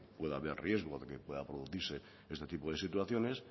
pueda haber riesgo de que pueda producirse este tipo de situaciones